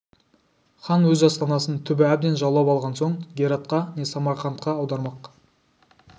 хан өз астанасын түбі әбден жаулап алған соң гератқа не самарқантқа аудармақ